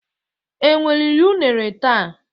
Enwe riri une taa